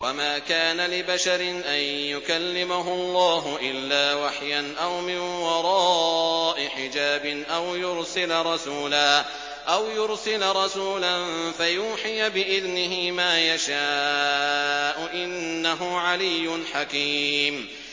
۞ وَمَا كَانَ لِبَشَرٍ أَن يُكَلِّمَهُ اللَّهُ إِلَّا وَحْيًا أَوْ مِن وَرَاءِ حِجَابٍ أَوْ يُرْسِلَ رَسُولًا فَيُوحِيَ بِإِذْنِهِ مَا يَشَاءُ ۚ إِنَّهُ عَلِيٌّ حَكِيمٌ